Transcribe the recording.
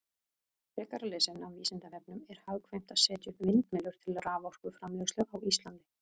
Frekara lesefni af Vísindavefnum: Er hagkvæmt að setja upp vindmyllur til raforkuframleiðslu á Íslandi?